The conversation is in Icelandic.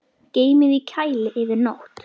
Geymið í kæli yfir nótt.